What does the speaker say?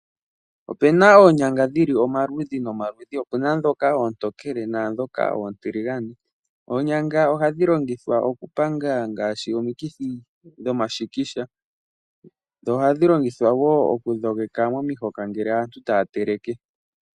Opuna oonyanga dhili omaludhi nomaludhi opuna ndhoka oontokele naandhoka oontiligane oonyanga ohadhi longithwa okupanga ngaashi omikithi dhomashikisha dho ohadhi longithwa woo okudhogeka omahoka nngele aantu taya teleke.